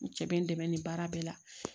N cɛ bɛ n dɛmɛ ni baara bɛɛ la